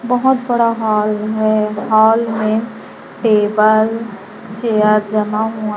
बहुत बड़ा हॉल है हॉल में टेबल चेयर जमा हुआ--